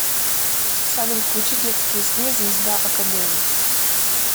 салют включи детские сны звезда акадэми